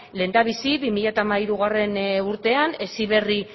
lehendabizi bi mila hamairugarrena urtean heziberri